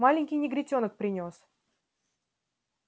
маленький негритёнок принёс